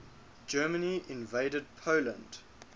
germany invaded poland